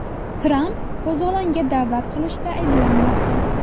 Tramp qo‘zg‘olonga da’vat qilishda ayblanmoqda.